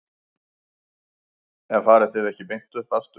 En farið þið ekki beint upp aftur?